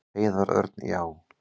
Heiðar Örn: Já.